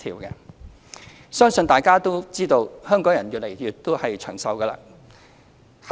我相信大家也知道，香港人越來越長壽。